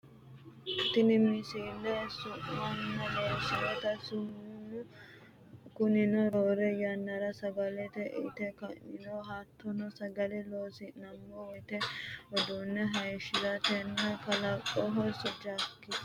tini misile samuna leellishshannote saamunu kunino roore yannara sagale inte ka'nironna hattono sagale loonsannirenna wodhinanni uduunne hayeeshshirate kaa'lannoho su'masi ajjakisete